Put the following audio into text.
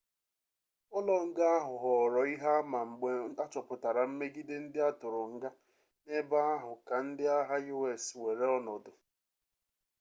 ụlọ nga ahụ ghọọrọ ihe ama mgbe achọpụtara mmegide ndị atụrụ nga n'ebe ahu ka ndị agha us weere ọnọdụ